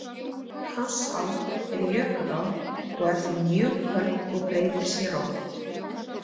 Krossá er jökulá og er því mjög köld og breytir sér oft.